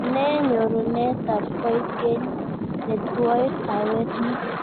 Ne nyorunetab koikeny netwoe kaweet ni